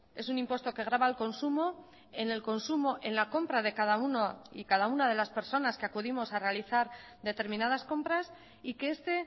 es un impuesto que graba al consumo en el consumo en la compra de cada uno y cada una de las personas que acudimos a realizar determinadas compras y que este